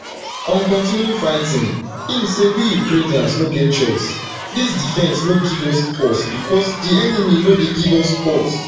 on continuing fighting im say we ukrainians no get choice dis defence no give us pause becos di enemy no dey give us pause